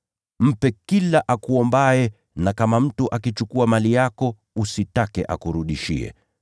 Mpe kila akuombaye, na kama mtu akichukua mali yako usitake akurudishie.